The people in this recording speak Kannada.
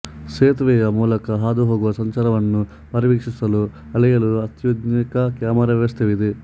ಸೇತುವೆಯ ಮೂಲಕ ಹಾದುಹೋಗುವ ಸಂಚಾರವನ್ನು ಪರಿವೀಕ್ಷಿಸಲು ಅಳೆಯಲು ಅತ್ಯಾಧುನಿಕ ಕ್ಯಾಮೆರಾ ವ್ಯವಸ್ಥೆಯಿದೆ